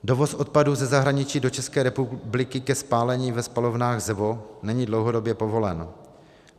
Dovoz odpadů ze zahraničí do České republiky ke spálení ve spalovnách ZEVO není dlouhodobě povolen.